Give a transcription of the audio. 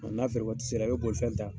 n'a feere waati sera i bɛ bolifɛn ta.